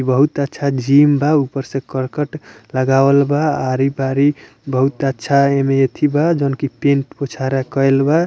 इ बहुत अच्छा जिम बा ऊपर से करकट लगावल बा आरी-पारी बहुत अच्छा ए में एथी बा जॉन कि पैंट कुछ आर करल बा।